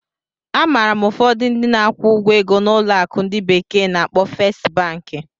Amaara m ụfọdụ ndị na-akwụ ụgwọ ego na ụlọ akụ ndi bekee na-akpo Fest Banki.